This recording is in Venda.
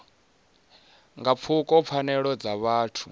nga pfuka pfanelo dza vhuthu